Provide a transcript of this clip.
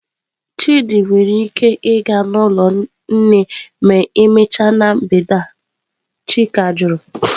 Chidi nwere ike ịga n'ụlọ nne ma emechaa na mgbede a?" Chika jụrụ.